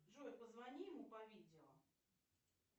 джой позвони ему по видео